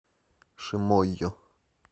шимойо